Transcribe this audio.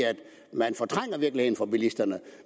man fortrænger virkeligheden for bilisterne